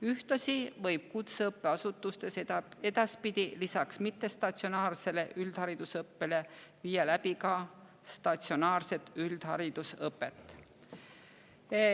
Ühtlasi võib kutseõppeasutustes edaspidi lisaks mittestatsionaarsele üldharidusõppele viia läbi ka statsionaarset üldharidusõpet.